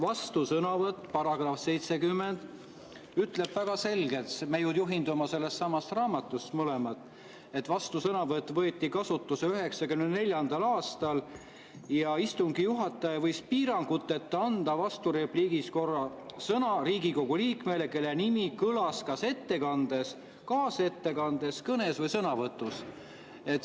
Vastusõnavõtu kohta ütleb § 70 väga selgelt – me ju juhindume mõlemad sellest samast raamatust –, et vastusõnavõtt võeti kasutusele 1994. aastal ja istungi juhataja võib piiranguteta anda vasturepliigi korras sõna Riigikogu liikmele, kelle nimi kõlas kas ettekandes, kaasettekandes, kõnes või sõnavõtus.